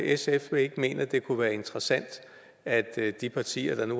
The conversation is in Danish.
sf ikke mener det kunne være interessant at de partier der nu